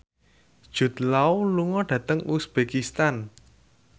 Jude Law lunga dhateng uzbekistan